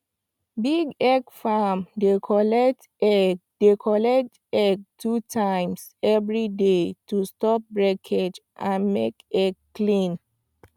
big egg farm dey collect egg dey collect egg two times every day to stop breakage and make egg clean